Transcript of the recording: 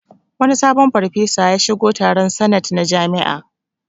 Wani sabon farfesa ya shigo taron sanet na jami'a